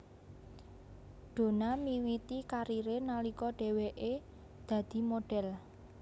Donna miwiti kariré nalika dheweke dadi modhél